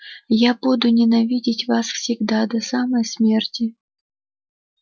я буду ненавидеть вас всегда до самой смерти